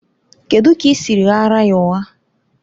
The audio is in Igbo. Kedụ ka i siri ghaara ya ụgha?